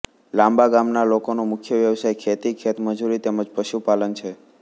લાંબા ગામના લોકોનો મુખ્ય વ્યવસાય ખેતી ખેતમજૂરી તેમ જ પશુપાલન છે